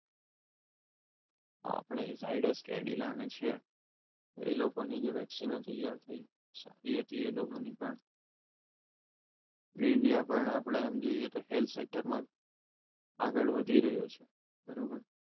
આપણે ઝાયડસ કેડિલા અને શહેર એ લોકોની જે વ્યક્તિનો વેક્સિન થઈ સારી હતી એ લોકોની પણ જે ઇન્ડિયામાં આપણે આમ જોઈએ તો health sector માં આગળ વધી રહ્યો છે બરોબર